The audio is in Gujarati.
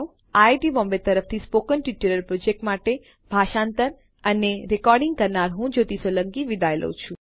આઈઆઈટી બોમ્બે તરફથી સ્પોકન ટ્યુટોરીયલ પ્રોજેક્ટ માટે ભાષાંતર કરનાર હું જ્યોતી સોલંકી વિદાય લઉં છું